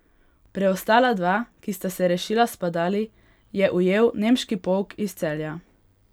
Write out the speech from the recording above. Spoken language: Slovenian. Preostala dva, ki sta se rešila s padali, je ujel nemški polk iz Celja.